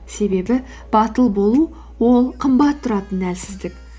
себебі батыл болу ол қымбат тұратын әлсіздік